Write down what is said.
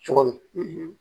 Cogo min